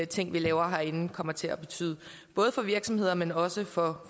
ting vi laver herinde kommer til at betyde både for virksomheder men også for